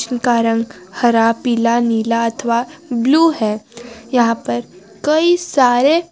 उनका रंग हरा पीला नीला अथवा ब्लू है यहां पर कई सारे।